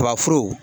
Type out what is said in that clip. Tubabu